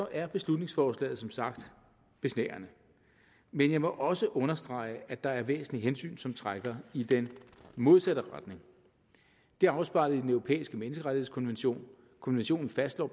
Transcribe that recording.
er beslutningsforslaget som sagt besnærende men jeg må også understrege at der er væsentlige hensyn som trækker i den modsatte retning det er afspejlet i den europæiske menneskerettighedskonvention konventionen fastslår